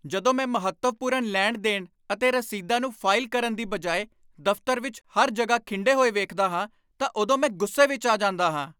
ਜਦੋਂ ਮੈਂ ਮਹੱਤਵਪੂਰਨ ਲੈਣ ਦੇਣ ਅਤੇ ਰਸੀਦਾਂ ਨੂੰ ਫਾਈਲ ਕਰਨ ਦੀ ਬਜਾਏ ਦਫ਼ਤਰ ਵਿੱਚ ਹਰ ਜਗ੍ਹਾ ਖਿੰਡੇ ਹੋਏ ਵੇਖਦਾ ਹਾਂ ਤਾਂ ਉਦੋਂ ਮੈਂ ਗੁੱਸੇ ਵਿੱਚ ਆ ਜਾਂਦਾ ਹਾਂ